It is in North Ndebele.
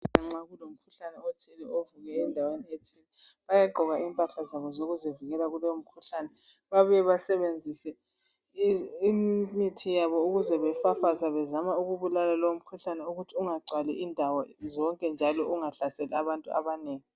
Nxa kulomkhuhlane othile ovuke endaweni ethile bayagqoka impahla zabo zokuzivikela kulowo mkhuhlane babuye basebenzise imithi yabo ukuze befafaze bezama ukubulala lowo mkhuhlane ukuthi ungagcwali indawo zonke njalo ungahlaseli abantu abanengi.